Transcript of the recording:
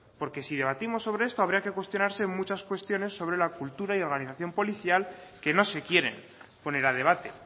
porque si debatimos sobre esto habría que cuestionarse muchas cuestiones sobre la cultura y organización policial que no se quieren poner a debate